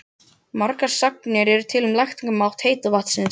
Margar sagnir eru til um lækningamátt heita vatnsins.